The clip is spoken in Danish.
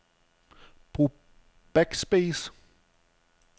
Brug backspace.